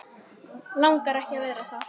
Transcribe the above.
Langar ekki að vera það.